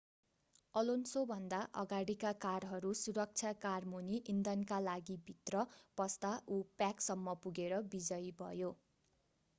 अलोन्सोभन्दा अगाडीका कारहरू सुरक्षा कारमुनि इन्धनका लागिभित्र पस्दा उ प्याकसम्म पुगेर विजयी भयो